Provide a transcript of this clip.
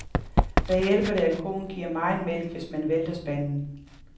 Hvad hjælper det, at koen giver megen mælk, hvis man vælter spanden.